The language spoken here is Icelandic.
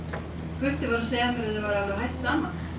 Gutti var að segja mér að þið væruð alveg hætt saman.